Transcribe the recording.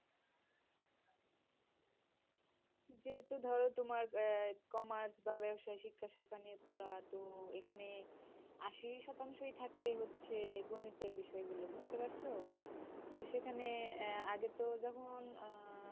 যেহেতু ধর তোমার আহ commerce বা ব্যাবসাই শিক্ষা নিয়ে পড়া তো এখানে আশি শতাংশই থাকে হচ্ছে গণিতের বিষয় গুলো বুঝতে পারছো? তো সেখানে আহ আগে তো যখন আহ